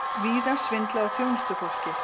Víða svindlað á þjónustufólki